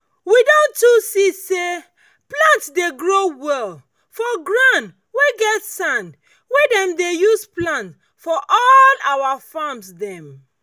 we don too see say plant dey grow well for ground wey get sand wey dem dey use plant for all our farms dem.